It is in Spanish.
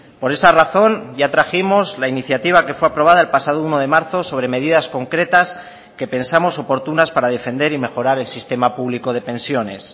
por esa razón ya trajimos la iniciativa que fue aprobada el pasado uno de marzo sobre medidas concretas que pensamos oportunas para defender y mejorar el sistema público de pensiones